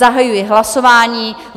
Zahajuji hlasování.